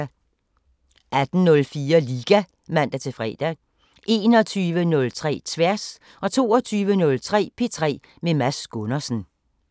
18:04: Liga (man-fre) 21:03: Tværs 22:03: P3 med Mads Gundersen